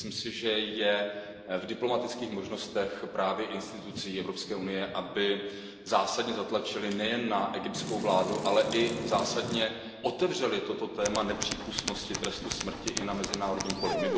Myslím si, že je v diplomatických možnostech právě institucí Evropské unie, aby zásadně zatlačily nejen na egyptskou vládu, ale i otevřely toto téma nepřípustnosti trestu smrti na mezinárodním poli.